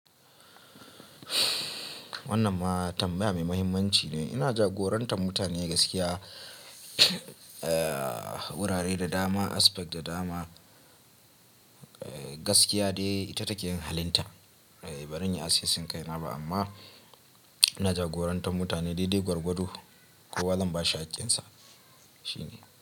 Wannan ma tambaya mai muhimmanci ne. Ina jagorantar mutane gaskiya, wurare da dama, aspect da dama, gaskiya dai ita take yin halinta. Ban iya asusun kai na ba amma ina jagorantar mutane daidai gwargwado. Kowa zan bashi hakkin sa, shine.